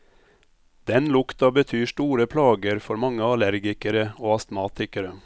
Den lukta betyr store plager for mange allergikere og astmatikere.